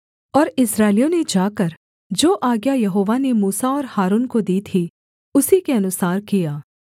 और इस्राएलियों ने जाकर जो आज्ञा यहोवा ने मूसा और हारून को दी थी उसी के अनुसार किया